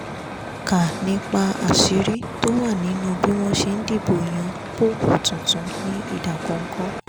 kà nípa àṣírí tó wà nínú bí wọ́n ṣe ń dìbò yan póòpù tuntun ní ìdákọ́ńkọ́